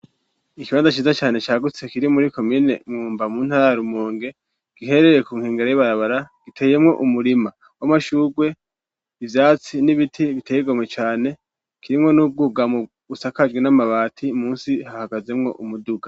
Ikibanda ashiza cane cagutse kiri muri komine mwumba mu ntarari umonge giherereye ku nkingero y'ibarabara giteyemwo umurima w'amashurwe ivyatsi n'ibiti biteyegamwe cane kirimwo n'ubwuga mu busakajwi n'amabati musi hahagazemwo umuduga.